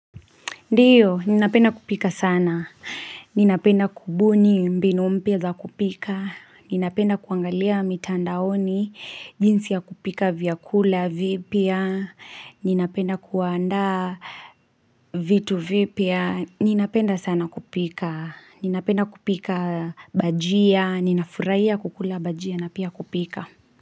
Ndiyo, ninapenda kupika sana. Ninapenda kubuni mbinu mpya za kupika. Ninapenda kuangalia mitandaoni, jinsi ya kupika vyakula, vipya. Ninapenda kuandaa vitu vipya Ninapenda sana kupika. Ninapenda kupika bajia. Ninafurahia kukula bajia na pia kupika.